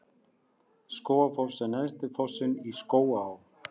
Skógafoss er neðsti fossinn í Skógaá.